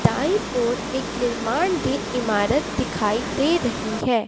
दाईं ओर एक निर्माण दे इमारत दिखाई दे रही है।